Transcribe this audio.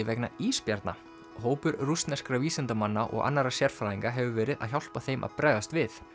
vegna ísbjarna hópur rússneskra vísindamanna og annarra sérfræðinga hefur verið að hjálpa þeim að bregðast við